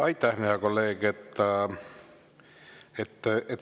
Aitäh, hea kolleeg!